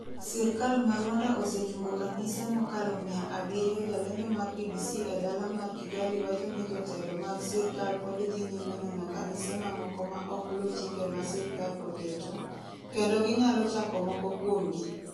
Sirkal mar Rwanda osechungo kanise mokalo mia abirio Jalendo mar BBC e dala mar Kigali wacho ni jotelo mag sirkal pod dhi nyime nono kanise mamoko ma ok luw chike ma sirkal oketo, kendo ginyalo chako moko kuomgi.